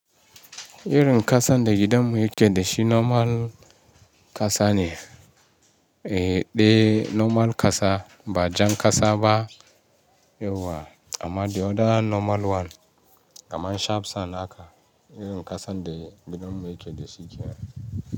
Irin kasan da gidanmu yake da shi normal kasa ne, eh, ɗai normal kasa ba jan kasa ba yauwa amma the other normal one kamar sharp sand haka irin ƙasan da gidanmu yake da shi yake.